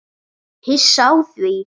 Hissa á því?